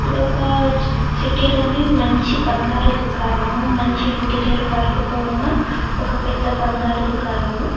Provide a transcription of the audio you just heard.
ఇదొక చీ చిటీ లోని మంచి బంగారు దుకాణము మంచి ఇంటీరియర్ వర్క్ తో ఉన్న ఒక పెద్ద బంగారు దుకాణము.